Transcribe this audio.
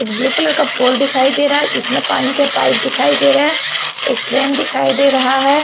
एक blue colour का pole दिखाई दे रहा है जिसमें पानी के पाइप दिखाई दे रहे हैं एक ट्रेन दिखाई दे रहा है।